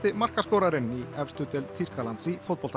markaskorarinn í efstu deild Þýskalands í fótbolta